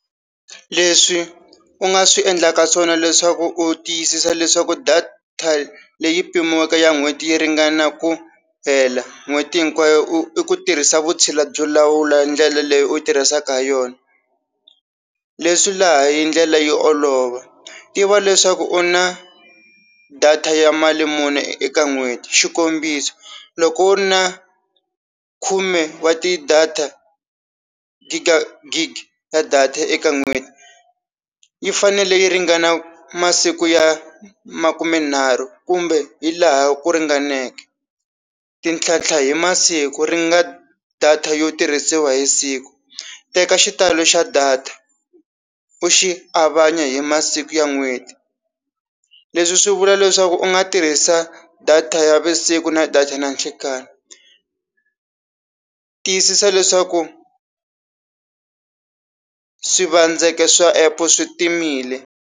Leswi u nga swi endlaka swona leswaku u tiyisisa leswaku data leyi pimiweke ya n'hweti yi ringana ku hela n'hweti hinkwayo i ku tirhisa vutshila byo lawula ndlela leyi u tirhisaka ha yona leswi laha hi ndlela yo olova tiva leswaku u na data ya mali muni eka n'hweti xikombiso, loko u ri na khume wa ti-data Gig ya data eka n'hweti yi fanele yi ringana masiku ya makumenharhu kumbe hi laha ku ringaneke ti ntlhantlha hi masiku ri nga data yo tirhisiwa hi siku teka xitalo xa data u xi avanya hi masiku ya n'hweti leswi swi vula leswaku u nga tirhisa data ya visiku na data na nhlekani tiyisisa leswaku swivandzeke swa app-o swi timile.